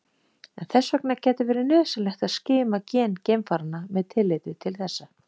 En þess vegna gæti verið nauðsynlegt að skima gen geimfaranna með tilliti til þessa.